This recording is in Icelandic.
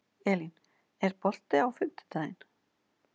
Elín, er bolti á fimmtudaginn?